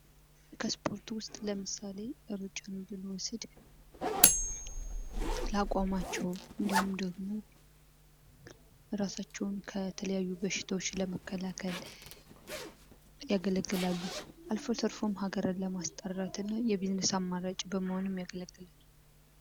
ከስፖርት ውስጥ ለምሳሌ እሩጫ ብኖሰድ ለአቋማቸው እንዲሁም ደግሞ እራሳቸውን ከተለያዩ በሽታዎች ለመከላከል ያገለግላሉ አልፎ ተርፎም ሃገርን ለማስጠራትና የቢዝነስ አማራጭ በመሆኑም ያገለግላሉ።